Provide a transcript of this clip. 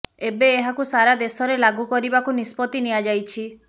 ଏବେ ଏହାକୁ ସାରା ଦେଶରେ ଲାଗୁ କରିବାକୁ ନିଷ୍ପତି ନିଆଯାଇଛି